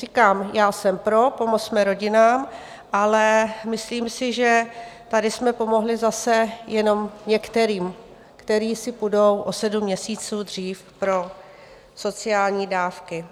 Říkám, já jsem pro, pomozme rodinám, ale myslím si, že tady jsme pomohli zase jenom některým, které si půjdou o sedm měsíců dřív pro sociální dávky.